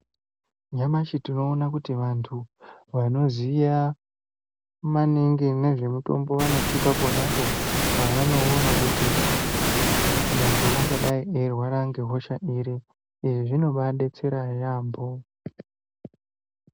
Nyamashi tinoona kuti vantu vanoziya maningi ngezvemutombo vanotipa ponapo pavanoona kuti muntu ungadai eirwara ngehosha iri. Izvi zvinombaadetsera yaampho.